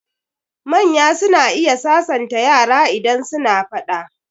Manya suna iya sasanta yara idan suna faɗa.